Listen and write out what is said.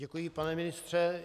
Děkuji, pane ministře.